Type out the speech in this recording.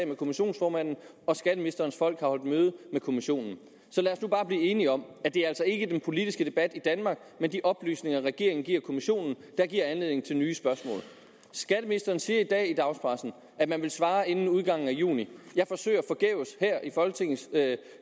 med kommissionsformanden og skatteministerens folk har holdt møde med kommissionen så lad os nu bare blive enige om at det altså ikke er den politiske debat i danmark men de oplysninger regeringen giver kommissionen der giver anledning til nye spørgsmål skatteministeren siger i dag i dagspressen at man vil svare inden udgangen af juni jeg forsøger forgæves her i folketingssalen